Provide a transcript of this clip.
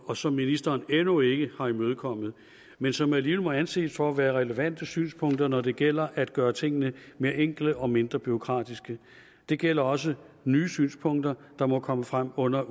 og som ministeren endnu ikke har imødekommet men som alligevel må anses for at være relevante synspunkter når det gælder at gøre tingene mere enkle og mindre bureaukratiske det gælder også nye synspunkter der må komme frem under